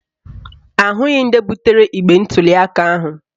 Ahụghị ndị butere igbe ntuliaka ahụ